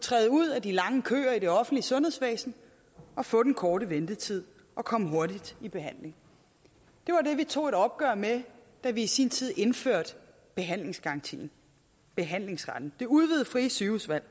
træde ud af de lange køer i det offentlige sundhedsvæsen og få den korte ventetid og komme hurtigere i behandling det var det vi tog et opgør med da vi i sin tid indførte behandlingsgarantien behandlingsretten det udvidede frie sygehusvalg